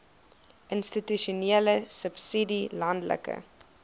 institusionele subsidie landelike